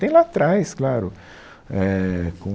Tem lá atrás, claro eh, com...